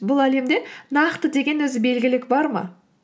бұл әлемде нақты деген өзі белгілік бар ма